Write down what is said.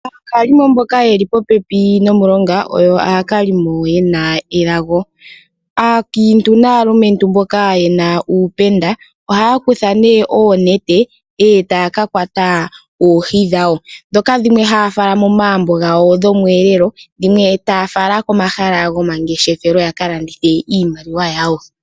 Aakalimo mboka yeli popepi nomulonga oyo aakalimo yena elago. Aakiintu naalumentu mboka yena uupenda ohaya kutha oonete e taya kakwata oohi dhawo, dhoka dhimwe haya fala momagumbo gawo dhomweelelo, dhimwe taya fala komahala gomangeshefelo yakalandithe iimaliwa yawo.